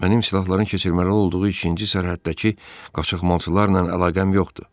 Mənim silahların keçirməli olduğu ikinci sərhəddəki qaçaqmalçılarla əlaqəm yoxdur.